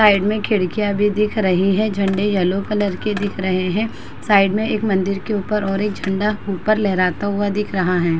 Side में खिड़कियाँ भी दिख रही हैं। झंडे येलो कलर के दिख रहे हैं। साइड मे एक मंदिर के ऊपर और एक झंडा ऊपर लहराता हुआ दिख रहा है।